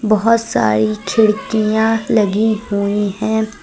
बहुत सारी खिड़कियां लगी हुई हैं।